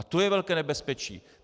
A to je velké nebezpečí.